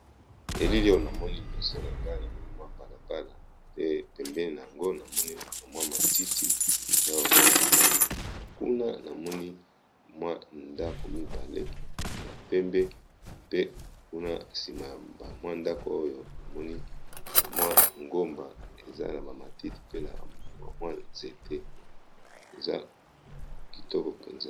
Elili o namoni liboso na ngai namoni mwa balabala pe pembeni na yango namoni bamwi matiti na mamwi nzete kuna namoni mwa ndako mibale ya pembe pe kuna nsima ya bamwi ndako oyo bamoni bamwi ngomba eza na bamatiti pe na bamwi nzete eza kitoko men